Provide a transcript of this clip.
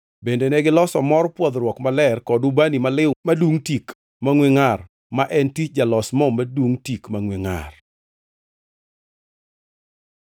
Bende negiloso mor pwodhruok maler kod ubani maliw madungʼ tik mangʼwe ngʼar, ma en tich jalos mo madungʼ tik mangʼwe ngʼar.